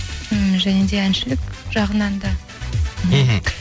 м және де әншілік жағынан да мхм